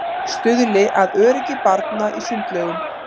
Stuðli að öryggi barna í sundlaugum